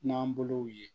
N'an bolow ye